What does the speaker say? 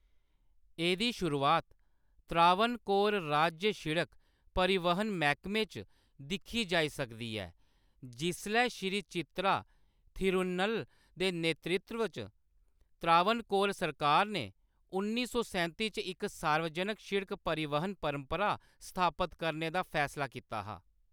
एह्‌‌‌दी शुरुआत त्रावणकोर राज्य शिड़क परिवहन मैह्‌‌‌कमे च दिक्खी जाई सकदी ऐ, जिसलै श्री चित्रा थिरुन्नल दे नेतृत्व च त्रावणकोर सरकार ने उन्नी सौ सैंती च इक सार्वजनक सिड़क परिवहन परपंरा स्थापत करने दा फैसला कीता हा।